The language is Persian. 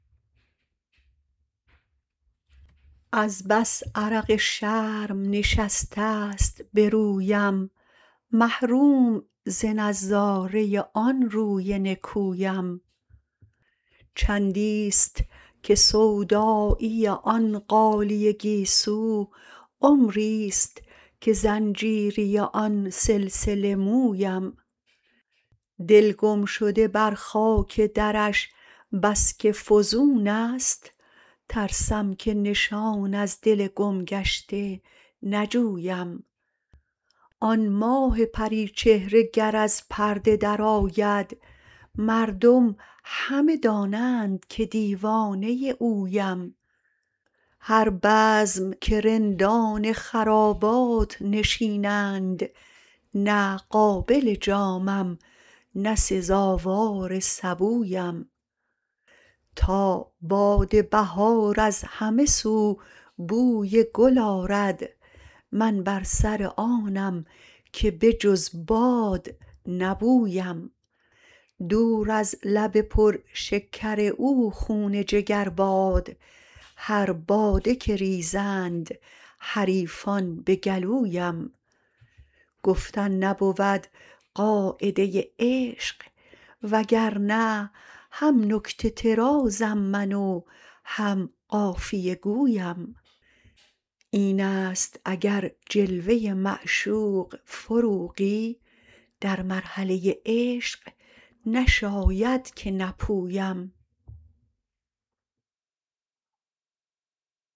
از بس عرق شرم نشسته ست به رویم محروم ز نظاره آن روی نکویم چندی است که سودایی آن غالیه گیسو عمری است که زنجیری آن سلسله مویم دل گمشده بر خاک درش بس که فزون است ترسم که نشان از دل گم گشته نجویم آن ماه پری چهره گر از پرده درآید مردم همه دانند که دیوانه اویم هر بزم که رندان خرابات نشینند نه قابل جامم نه سزاوار سبویم تا باد بهار از همه سو بوی گل آرد من بر سر آنم که به جز باد نبویم دور از لب پر شکر او خون جگر باد هر باده که ریزند حریفان به گلویم گفتن نبود قاعده عشق وگرنه هم نکته طرازم من و هم قافیه گویم این است اگر جلوه معشوق فروغی در مرحله عشق نشاید که نپویم